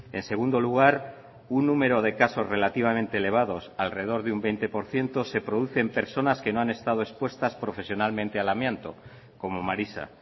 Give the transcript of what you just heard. en segundo lugar un número de casos relativamente elevados alrededor de un veinte por ciento se produce en personas que no han estado expuestas profesionalmente al amianto como marisa